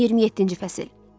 27-ci fəsil.